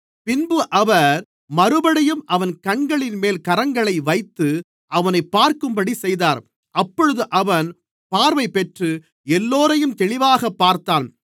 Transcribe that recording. பின்பு அவர் மறுபடியும் அவன் கண்களின்மேல் கரங்களை வைத்து அவனைப் பார்க்கும்படி செய்தார் அப்பொழுது அவன் பார்வைப்பெற்று எல்லோரையும் தெளிவாகப் பார்த்தான்